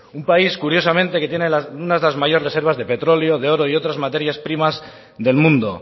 un país curiosamente que tiene una de las mayores reservas de petróleo de oro y de otras materias primas del mundo